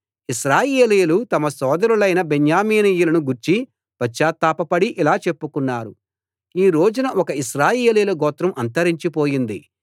ఇశ్రాయేలీయులు తమ సోదరులైన బెన్యామీనీయులను గూర్చి పశ్చాత్తాపపడి ఇలా చెప్పుకున్నారు ఈ రోజున ఒక ఇశ్రాయేలీయుల గోత్రం అంతరించి పోయింది